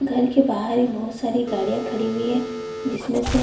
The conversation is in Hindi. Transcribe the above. घर के बाहर भी बहोत साडी गाड़ियां खड़ी हुई है जिसमें से --